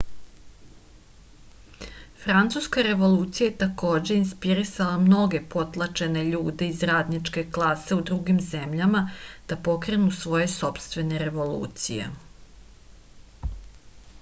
francuska revolucija je takođe inspirisala mnoge potlačene ljude iz radničke klase u drugim zemljama da pokrenu svoje sopstvene revolucije